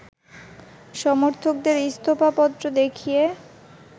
সমর্থকদের ইস্তফা পত্র দেখিয়ে